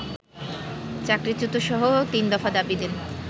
চাকরিচ্যুতসহ তিনদফা দাবি দেন